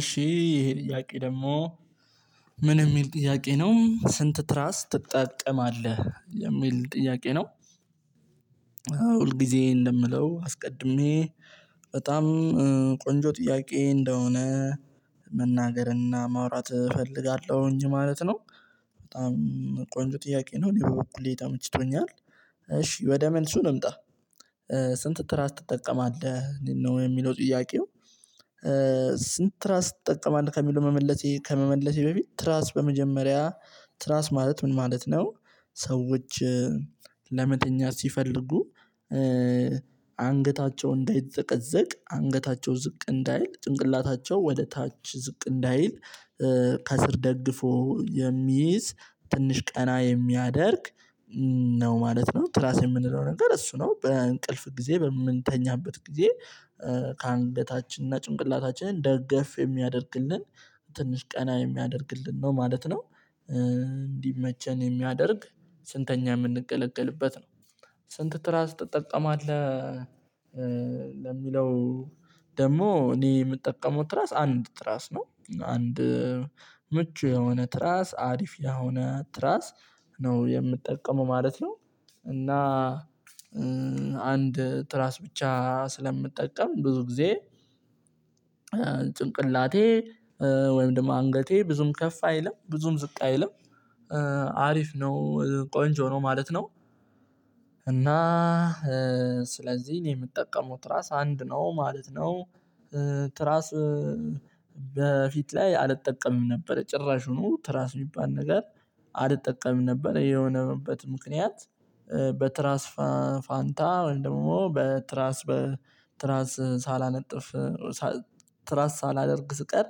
እሺ ይሄ ጥያቄ ደግሞ ምን የሚል ጥያቄ ነው? ስንት ትራስ ትጠቀማለህ? የሚል ጥያቄ ነው። ሁል ጊዜ እንደምለው አስቀድሜ በጣም ቆንጆ ጥያቄ እንደሆነ መናገርና ማውራት እፈልጋለሁኝ ማለት ነው። በጣም ቆንጆ ጥያቄ ነው። እኔ በኩሌ ተመችቶኛል። እሺ ወደ መልሱ ልምጣ ስንት ትራስ ትጠቀማለህ? ነው የሚለው ጥያቄው ስንት ትራስ ትጠቀማለህ? ከሚለው ከመመለሴ ከመመለሴ በፊት ትራስ በመጀመሪያ ትራስ ማለት ምን ማለት ነው? ሰዎች ለመተኛት ሲፈልጉ አንገታቸው እንዳይዘቀዘቅ አንገታቸው ዝቅ እንዳይል ጭንቅላታቸው ወደ ታች ዝቅ እንዳይል ከስር ደግፎ የሚይዝ ትንሽ ቀና የሚያደርግ ነው ማለት ነው። ትራስ የምንለው ነገር እሱ ነው በእንቅልፍ ጊዜ በምንተኛበት ጊዜ ከአንገታችን እና ጭንቅላታችንን ደገፍ የሚያደርግልን ትንሽ ቀና የሚያደርግልን ነው ማለት ነው። እንዲመቸን የሚያደርግ ስንተኛ የምንገለግልበት ነው። ስንት ትራስ ትጠቀማለህ? ለሚለው ደግሞ እኔ ምጠቀመው ትራስ አንድ ትራስ ነው። አንድ ምቹ የሆነ ትራስ አሪፍ የሆነ ትራስ ነው የምጠቀመው ማለት ነው እና አንድ ትራስ ብቻ ስለምጠቀም ብዙ ጊዜ ጭንቅላቴ ወይም ደግሞ አንገቴ ብዙም ከፍ አይልም ብዙም ዝቅ አይልም። አሪፍ ነው ቆንጆ ነው ማለት ነው እና ስለዚህ የምትጠቀመው ትራስ አንድ ነው ማለት ነው? ትራስ በፊት ላይ አልጠቀምም ነበረ ጭራሹኑ ትራስ የሚባል ነገር አልጠቀምም ነበረ የሆነበት ምክንያት በትራስ ፋንታ ደግሞ በትራስ በ ትራስ ሳላነጥፍ ትራስ ሳላደርግ ስቀር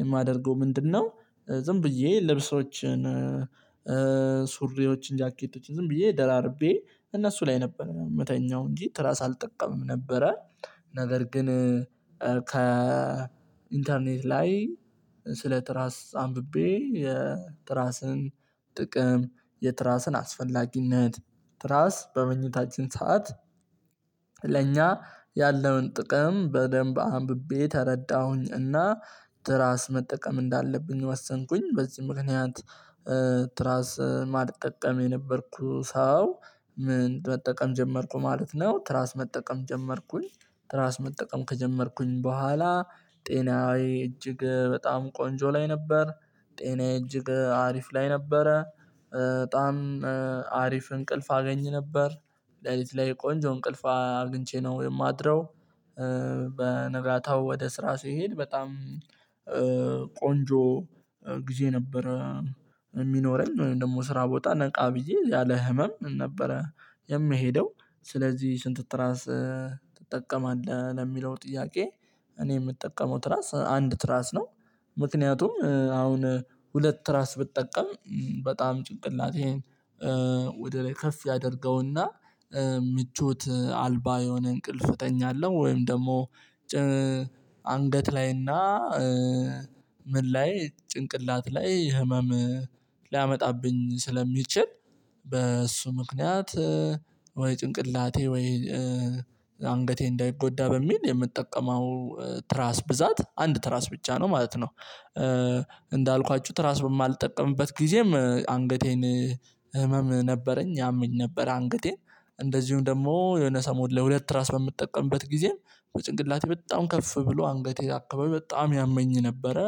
የማደርገው ምንድነው? ዝም ብዬ ልብሶችን፣ ሱሪዎችን፣ ጃኬቶች ዝም ብዬ ደራርቤ እነሱ ላይ ነበር ምተኛው እንጂ ትራስ አልጠቀምም ነበረ። ነገር ግን ከ ኢንተርኔት ላይ ስለ ትራስ አንብቤ የትራስን ጥቅም፣ የትራስን አስፈላጊነት፣ ትራስ በመኝታችን ሰዓት ለእኛ ያለውን ጥቅም በደንብ አንብቤ ተረዳሁኝ። እና ትራስ መጠቀም እንዳለብኝ ወሰንኩኝ በዚህ ምክንያት ትራስ ማልጠቀም የነበርኩ ሰው ምን መጠቀም ጀመርኩ ማለት ነው? ትራስ መጠቀም ጀመርኩኝ። ትራስ መጠቀም ከጀመርኩኝ በኋላ ጤናዬ እጅግ በጣም ቆንጆ ላይ ነበር። ጤናዬ እጅግ አሪፍ ላይ ነበረ በጣም አሪፍ እንቅልፍ አገኝ ነበር ሌሊት ላይ ቆንጆ እንቅልፍ አግኝቼ ነው የማድረው። በ ነጋታው ወደ ስራ ስሄድ በጣም ቆንጆ ጊዜ ነበረ ሚኖረኝ። ወይም ደግሞ ስራ ቦታ ነቃ ብዬ ያለ ህመም ነበረ የምሄደው። ስለዚህ ስንት ትራስ ትጠቀማለህ? ለሚለው ጥያቄ እኔ ምጠቀመው ትራስ አንድ ትራስ ነው። ምክንያቱም አሁን ሁለት ትራስ ብጠቀም በጣም ጭንቅላቴን ወደ ላይ ከፍ ያደርገውና ምቾት አልባ የሆነ እንቅልፍ እተኛለሁ ወይም ደግሞ አንገት ላይና ምን ላይ ጭንቅላት ላይ ህመም ሊያመጣብኝ ስለሚችል በእሱ ምክንያት ወይ ጭንቅላቴ ወይ አንገቴ እንዳይጎዳ በሚል የምትጠቀመው ትራስ ብዛት አንድ ትራስ ብቻ ነው ማለት ነው። እንዳልኳችሁ ትራስ በማልጠቀምበት ጊዜም አንገቴን ህመም ነበረኝ ያመኝ ነበር አንገቴን እንደዚሁም ደግሞ የሆነ ሰሞን ለሁለት ትራስ በምትጠቀምበት ጊዜም በጭንቅላቴ በጣም ከፍ ብሎ አንገቴ አከባቢ በጣም ያመኝ ነበረ።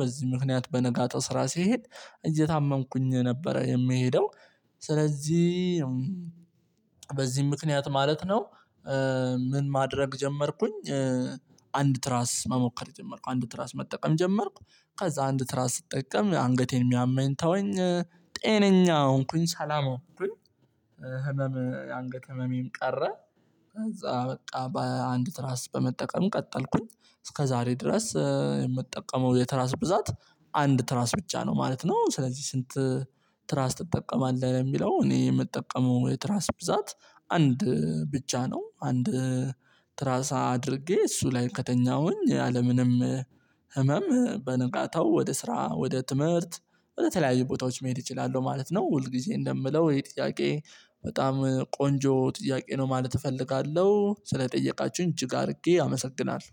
በዚህ ምክንያት በነጋታው ስራ ስሄድ እየታመምኩኝ ነበረ የምሄደው። ስለዚህ በዚህ ምክንያት ማለት ነው ምን ማድረግ ጀመርኩኝ አንድ ትራስ መሞከር ጀመርኩ አንድ ትራስ መጠቀም ጀመርኩ ከዛ አንድ ትራስ ስጠቀም አንገቴን የሚያመኝ ተወኝ ጤነኛ ሆንኩኝ ሰላም ሆንኩኝ። ህመም አንገት ህመም ቀረ ከዛ በቃ በአንድ ትራስ በመጠቀም ቀጠልኩኝ እስከ ዛሬ ድረስ የምትጠቀመው የትራስ ብዛት አንድ ትራስ ብቻ ነው ማለት ነው። ስለዚህ ስንት ትራስ ትጠቀማለህ? ሚለው እኔ የምጠቀመው የትራስ ብዛት አንድ ብቻ ነው። አንድ ትራስ አድርጌ እሱ ላይ ከተኛሁኝ ያለምንም ህመም በነጋታው ወደ ስራ ወደ ትምህርት ወደ ተለያዩ ቦታዎች መሄድ እችላለሁ ማለት ነው። ሁል ጊዜ እንደምለው ይሄ ጥያቄ በጣም ቆንጆ ጥያቄ ነው ማለት እፈልጋለሁ። ስለጠየቃችሁኝ እጅግ አድርጌ አመሰግናለሁ።